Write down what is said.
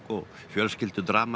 og